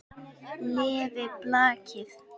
Lifi blakið!